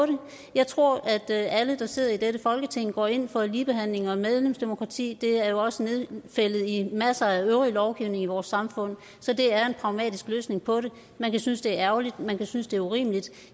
jeg tror at alle der sidder i dette folketing går ind for ligebehandling og medlemsdemokrati det er jo også nedfældet i masser af øvrig lovgivning i vores samfund så det er en pragmatisk løsning på det man kan synes det er ærgerligt man kan synes det er urimeligt